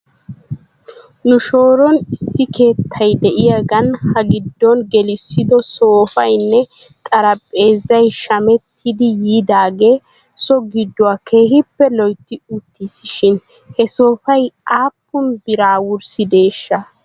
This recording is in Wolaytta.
Nu shooran issi keettay de'yaagan ha giddon gelissido soofaynne xarpheezzay shamettidi yiidaagee so gidduwaa keehippe loytti uttiis shin he soofay aappun biraa wurssideeshsha?